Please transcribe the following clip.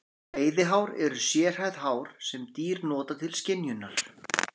Veiðihár eru sérhæfð hár sem dýr nota til skynjunar.